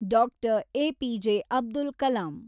Doctor. A P J. Abdul Kalam